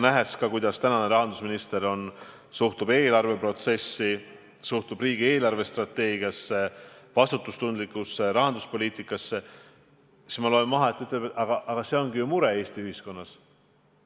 Ma olen näinud, kuidas rahandusminister suhtub eelarveprotsessi, suhtub riigi eelarvestrateegiasse, vastutustundlikusse rahanduspoliitikasse, ja ma loen siit välja, et ta ütleb, et see ongi Eesti ühiskonnas suur mure.